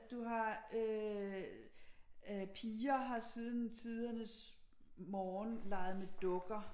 At du har øh piger har siden tidernes morgen leget med dukker